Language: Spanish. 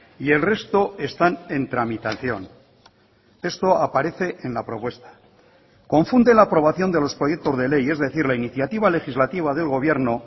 y el resto están en tramitación esto aparece en la propuesta confunde la aprobación de los proyectos de ley es decir la iniciativa legislativa del gobierno